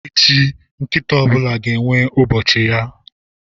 Echi, nkịta ọ bụla ga-enwe ụbọchị ya.